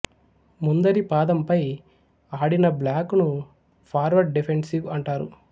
ముందరి పాదంపై ఆడిన బ్లాక్ ను ఫార్వార్డ్ డిఫెన్సివ్ అంటారు